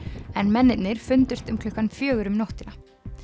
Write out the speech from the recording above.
en mennirnir fundust um klukkan fjögur um nóttina